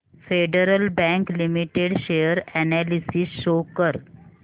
federal Bank Limited share analysis show कर